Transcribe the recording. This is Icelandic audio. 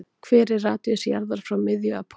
Hver er radíus jarðar frá miðju að pól?